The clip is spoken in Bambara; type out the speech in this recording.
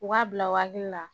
U b'a bila u hakili la